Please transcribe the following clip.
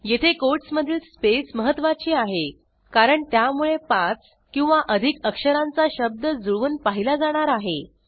येथे कोटसमधीलspace महत्त्वाची आहे कारण त्यामुळे 5 किंवा अधिक अक्षरांचा शब्द जुळवून पाहिला जाणार आहे